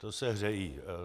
To se hřejí.